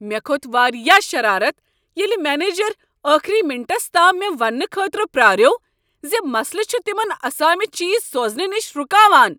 مےٚ كھوت واریاہ شرارت ییلِہ منیجر ٲخری منٹس تام مےٚ وننہٕ خٲطرٕ پراریوو زِ مسلہٕ چھ تِمن اسامہِ چیز سوزنہٕ نش رکاوان ۔